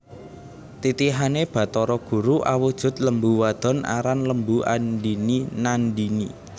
Titihané Bathara guru awujud lembu wadon aran Lembu andhini Nandhini